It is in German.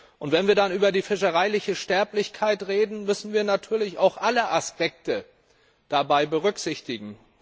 Und wenn wir dann über die fischereiliche Sterblichkeit reden, müssen wir natürlich auch alle Aspekte dabei berücksichtigen.